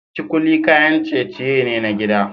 Kikuli kayan ciye-ciye ne na gida